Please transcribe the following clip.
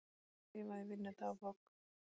Hef skrifað í vinnudagbók